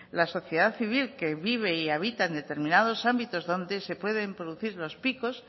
la sociedad civil que vive y habita en determinados ámbitos donde se pueden producir los picos